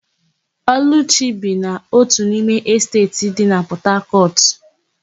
Ọlụchi bi na ótù n'ime Esteeti dị na Pọtakọtụ.